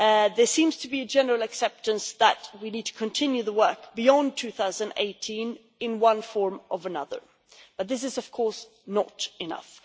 There seems to be a general acceptance that we need to continue the work beyond 2018 in one form or another, but this of course is not enough.